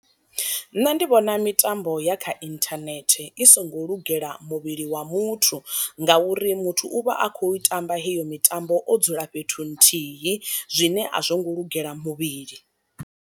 Nṋe ndi vhona mitambo ya kha inthanethe i songo lugela muvhili wa muthu, ngauri muthu u vha a kho tamba heyo mitambo o dzula fhethu nthihi zwine a zwo ngo lugela muvhili.